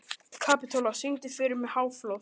Kapitola, syngdu fyrir mig „Háflóð“.